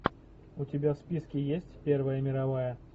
у тебя в списке есть первая мировая